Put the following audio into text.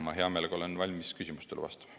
Ma hea meelega olen valmis küsimustele vastama.